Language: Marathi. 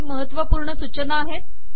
काही महत्वपूर्ण सूचना आहेत